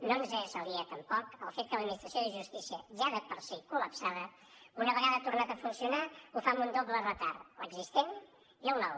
no ens és aliè tampoc el fet que l’administració de justícia ja de per si col·lapsada una vegada ha tornat a funcionar ho fa amb un doble retard l’existent i el nou